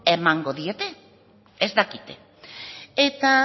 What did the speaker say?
emango dieten ez dakite eta